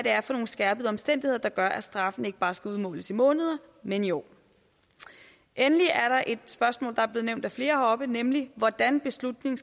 er for nogle skærpende omstændigheder der gør at straffen ikke bare skal udmåles i måneder men i år endelig er der et spørgsmål der er blevet nævnt af flere heroppe nemlig hvordan beslutningen